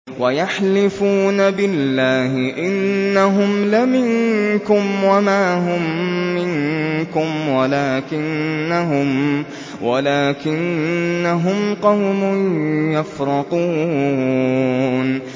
وَيَحْلِفُونَ بِاللَّهِ إِنَّهُمْ لَمِنكُمْ وَمَا هُم مِّنكُمْ وَلَٰكِنَّهُمْ قَوْمٌ يَفْرَقُونَ